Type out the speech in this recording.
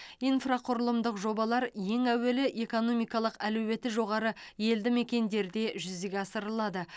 инфрақұрылымдық жобалар ең әуелі экономикалық әлеуеті жоғары елді мекендерде жүзеге асырылады